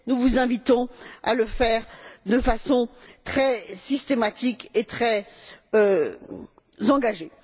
Nous vous invitons à le faire de façon très systématique et très engagée.